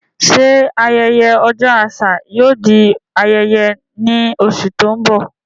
Ṣé ayẹyẹ Ọjọ́ Àṣà yóò di ayẹyẹ ní oṣù tó ń bọ̀?